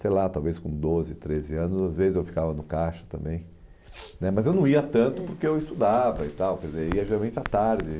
sei lá, talvez com doze, treze anos, às vezes eu ficava no caixa também né mas eu não ia tanto porque eu estudava e tal, quer dizer ia geralmente à tarde.